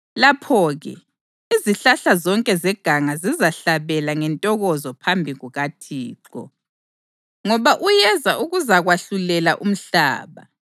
Lapho-ke izihlahla zonke zeganga zizahlabela ngentokozo phambi kukaThixo, ngoba uyeza ukuzakwahlulela umhlaba.